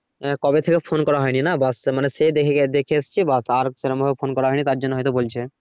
আহ কবে থেকে ফোন করা হয়নি না বাসকে সে দেখে এসছি আর বাস আর সেরকম ভাবে ফোন করা হয়নি তারজন্য হয়তো বলছে,